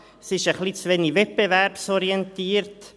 «Ja, es ist ein bisschen zu wenig wettbewerbsorientiert.